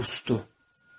O qusdu.